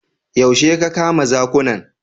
Yaushe ka kama zakunan?